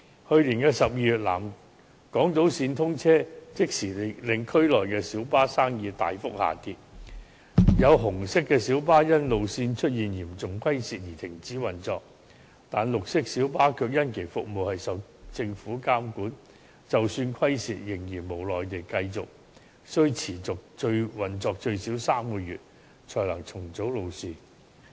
去年12月南港島線通車，即時令區內小巴生意大幅下跌，有紅色小巴更因路線出現嚴重虧蝕而停止運作，但綠色小巴卻由於服務受到政府監管，即使有虧損，他們仍然無奈地須持續運作最少3個月才能重組路線。